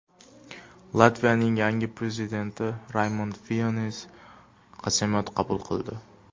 Latviyaning yangi prezidenti Raymond Veyonis qasamyod qabul qildi.